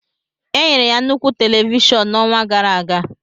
Enyere ya nnukwu televishọn n'ọnwa gara aga.